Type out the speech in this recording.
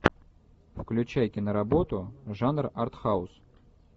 включай киноработу жанр артхаус